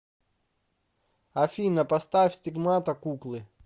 афина поставь стигмата куклы